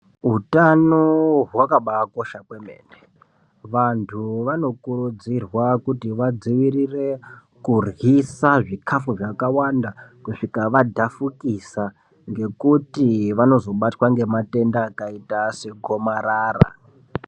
Utano hwakakosha maningi vantu vanokurudzirwa kuti vadzivirire kuryisa zvikafu zvakàwanda kusvika vadhafukisa ngekuti vanozobatwa ngematenda akaita segomarara.